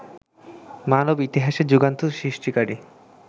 মানব ইতিহাসে যুগান্ত সৃষ্টিকারী